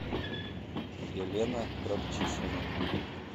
елена кравчишина